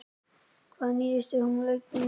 Hvað nýtist hún lengi?